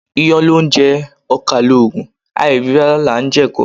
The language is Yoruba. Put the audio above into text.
Iyán loúnje, okà lòògùn, àìrí rárá là n je èko